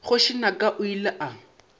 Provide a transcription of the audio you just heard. kgoši naka o ile a